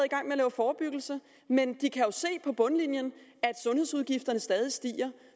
forebyggelse men de kan jo se på bundlinjen at sundhedsudgifterne stadig stiger